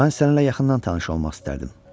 Mən səninlə yaxından tanış olmaq istərdim.